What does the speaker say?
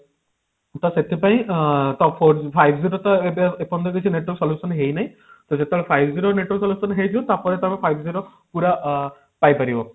ତ ସେଥିପାଇଁ ଆଁ ତ four five G ର ତ ଏବେ ଏପର୍ଯ୍ୟନ୍ତ କିଛି better solution ହେଇନାହିଁ ତ ଯେତେବେଳେ five G ର network ବର୍ତମାନ ହେଇନି ତାପରେ ତାର five G ର ଅ ପୁରା ପାଇ ପାରିବ